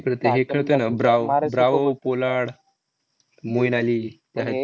तिकडं ते हे खेळते ना, Bravo Bravo, Pollard, Moeen Ali. त्याह्या